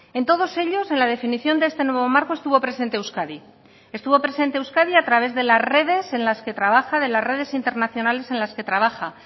en todos ellos en la definición de este nuevo marco estuvo presente euskadi estuvo presente euskadi a través de las redes en las que trabaja de las redes internacionales en las que trabaja